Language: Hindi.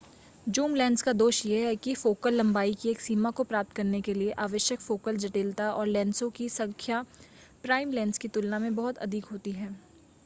जूम लेंस का दोष यह है कि फोकल लंबाई की एक सीमा को प्राप्त करने के लिए आवश्यक फोकल जटिलता और लेंसों की संख्या प्राइम लेंस की तुलना में बहुत अधिक होती है